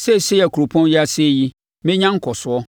seesei a kuropɔn yi asɛe yi, mɛnya nkɔsoɔ.’